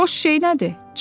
Boş şey nədir?